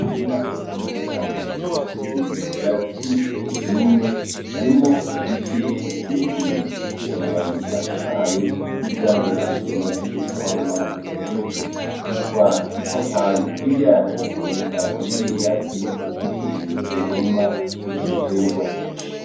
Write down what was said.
Umurima mureni cane ushashije ivyatsi vyumye harimwo igiti ikirekire gifise amababi atotahaye n'ivyamwa bimaze kwama kuri co citwa ipapayi hirya aco haboneka ibindi vyatsi bikikuje uwo murima b'ico giterwa.